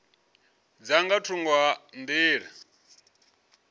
dza nga thungo ha nḓila